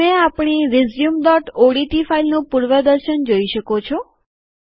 તમે આપણી રેઝ્યુમઓડીટી ફાઈલનું પૂર્વદર્શન જોઈ શકો છો